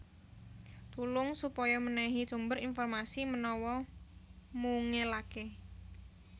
Tulung supaya mènèhi sumber informasi menawa mungelaké